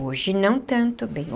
Hoje não tanto bem.